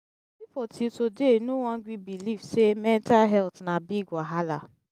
until today no wan gree belief say mental health na big wahala